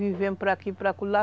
Vivemos para aqui, para acolá